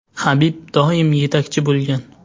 Habib doim yetakchi bo‘lgan.